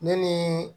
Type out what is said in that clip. Ne ni